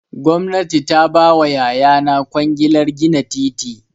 Gwamnati ta ba wa yayana kwangilar gina titi.